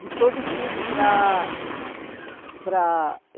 De todo o Chile para para